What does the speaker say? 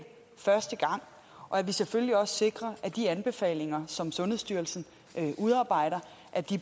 første gang og at vi selvfølgelig også sikrer at de anbefalinger som sundhedsstyrelsen udarbejder